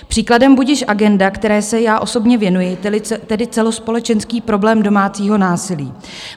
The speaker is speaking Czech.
Příkladem budiž agenda, které se já osobně věnuji, tedy celospolečenský problém domácího násilí.